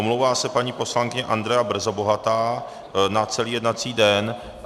Omlouvá se paní poslankyně Andrea Brzobohatá na celý jednací den.